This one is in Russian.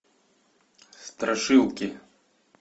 страшилки